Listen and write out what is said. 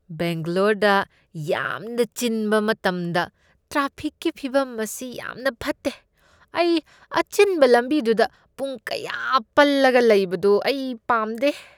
ꯕꯦꯡꯒ꯭ꯂꯣꯔꯗ ꯌꯥꯝꯅ ꯆꯤꯟꯕ ꯃꯇꯝꯗ ꯇ꯭ꯔꯥꯐꯤꯛꯀꯤ ꯐꯤꯕꯝ ꯑꯁꯤ ꯌꯥꯝꯅ ꯐꯠꯇꯦ꯫ ꯑꯩ ꯑꯆꯤꯟꯕ ꯂꯝꯕꯤꯗꯨꯗ ꯄꯨꯡ ꯀꯌꯥ ꯄꯜꯂꯒ ꯂꯩꯕꯗꯨ ꯑꯩ ꯄꯥꯝꯗꯦ꯫